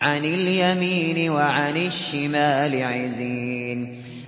عَنِ الْيَمِينِ وَعَنِ الشِّمَالِ عِزِينَ